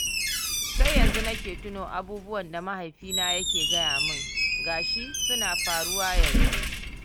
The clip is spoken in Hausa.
Sai yanzu nake tuno abubuwan da mahifina yake gaya min, ga shi suna faruwa yanzu.